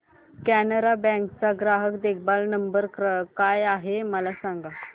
Canara bank चा ग्राहक देखभाल नंबर काय आहे मला सांगा